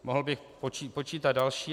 Mohl bych počítat další.